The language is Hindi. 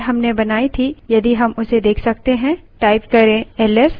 अब देखने की कोशिश करते हैं जो file हमने बनाई थी यदि हम उसे let सकते हैं